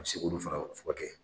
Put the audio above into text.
Ka se k'olu fana fura kɛ.